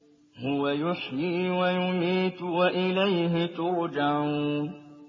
هُوَ يُحْيِي وَيُمِيتُ وَإِلَيْهِ تُرْجَعُونَ